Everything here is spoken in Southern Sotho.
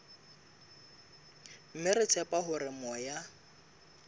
mme re tshepa hore moya